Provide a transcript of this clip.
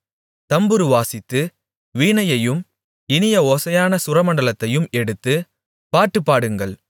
தம்புரு வாசித்து வீணையையும் இனிய ஓசையான சுரமண்டலத்தையும் எடுத்து பாட்டு பாடுங்கள்